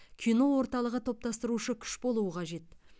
кино орталығы топтастырушы күш болуы қажет